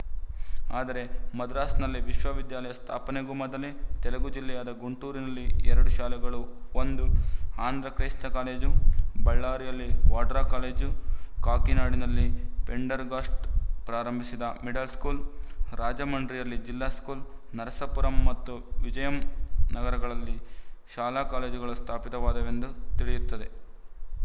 ಆದರೆ ಮದ್ರಾಸ್‍ನಲ್ಲಿ ವಿಶ್ವವಿದ್ಯಾಲಯ ಸ್ಥಾಪನೆಗೂ ಮೊದಲೇ ತೆಲುಗು ಜಿಲ್ಲೆಯಾದ ಗುಂಟೂರಿನಲ್ಲಿ ಎರಡು ಶಾಲೆಗಳು ಒಂದು ಆಂಧ್ರ ಕ್ರೈಸ್ತ ಕಾಲೇಜು ಬಳ್ಳಾರಿಯಲ್ಲಿ ವಾಡ್ರ್ಲಾ ಕಾಲೇಜು ಕಾಕಿನಾಡನಲ್ಲಿ ಪೆಂಡರ್ ಗಾಸ್ಡ್ ಪ್ರಾರಂಭಿಸಿದ ಮಿಡಲ್ ಸ್ಕೂಲ್ ರಾಜಮಂಡ್ರಿಯಲ್ಲಿ ಜಿಲ್ಲಾ ಸ್ಕೂಲ್ ನರಸಾಪುರಂ ಮತ್ತು ವಿಜಯಂ ನಗರಗಳಲ್ಲಿ ಶಾಲಾ ಕಾಲೇಜುಗಳು ಸ್ಥಾಪಿತವಾದವೆಂದು ತಿಳಿಯುತ್ತದೆ